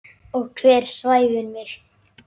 Og hver svæfir mig?